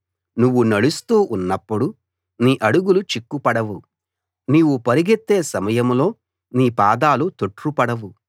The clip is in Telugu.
నువ్వు నడుస్తూ ఉన్నప్పుడు నీ అడుగులు చిక్కుపడవు నీవు పరుగెత్తే సమయంలో నీ పాదాలు తొట్రుపడవు